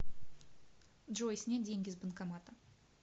джой снять деньги с банкомата